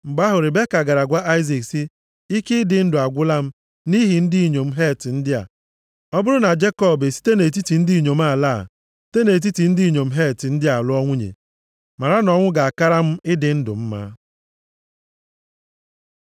Mgbe ahụ Ribeka gara gwa Aịzik sị, “Ike ịdị ndụ agwụla m nʼihi ndị inyom Het ndị a. Ọ bụrụ na Jekọb esite nʼetiti ndị inyom ala a, site nʼetiti ndị inyom Het ndị a lụọ nwunye, mara na ọnwụ ga-akara m ịdị ndụ mma.”